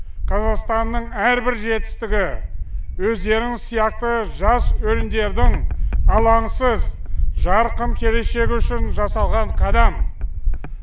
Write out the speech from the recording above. қазақстанның әрбір жетістігі өздеріңіз сияқты жас өрендердің алаңсыз жарқын келешегі үшін жасалған қадам